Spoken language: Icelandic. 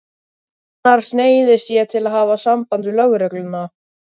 Annars neyðist ég til að hafa samband við lögregluna.